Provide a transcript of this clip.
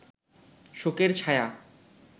শোকের ছায়া